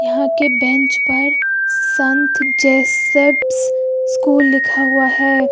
यहां के बेंच पर संत जेसेप्स स्कूल लिखा हुआ है।